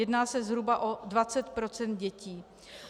Jedná se zhruba o 20 % dětí.